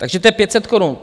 Takže to je 500 korun.